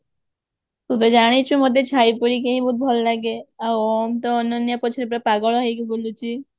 ତୁ ତ ଜାଣିଛୁ ମତେ ଛାଇ ପାରି କେହି ବହୁତ ଭଲ ଲାଗେ ଆଉ ମୁ ତ ଅନନ୍ୟା ପଛରେ ପୁରା ପାଗଳ ହେଇକି ବୁଲୁଛି